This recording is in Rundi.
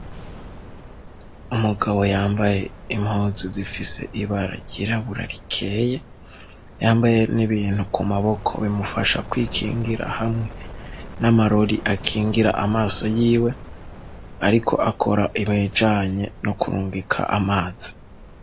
umugabo yambaye impunzu zifise ibara ryirabura rikeye yambaye n'ibintu ku maboko bimufasha kwikingira hamwe n'amarori akingira amaso yiwe ariko akora ibijanye no kurungika amazi